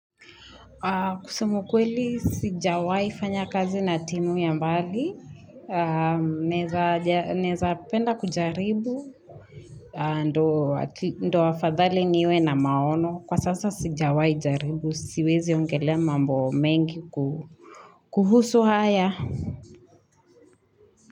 Kusema ukweli sijawahi fanya kazi na timu ya mbali, naeza penda kujaribu, ndio afadhali niwe na maono, kwa sasa sijawahi jaribu, siwezi ongelea mambo mengi kuhusu haya.